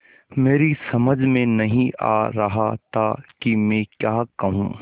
मेरी समझ में नहीं आ रहा था कि मैं क्या कहूँ